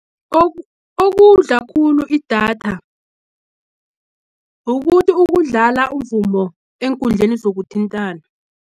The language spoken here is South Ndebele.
Okudla khulu idatha, ukudlala umvumo, eenkundleni zokuthintana.